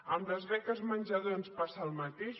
amb les beques menjador ens passa el mateix